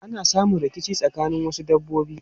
Ana samun rikici tsakanin wasu dabbobi.